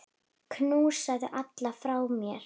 Knúsaðu alla frá mér.